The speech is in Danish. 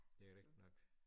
Det rigtigt nok